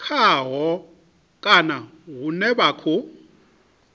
khaho kana hune vha khou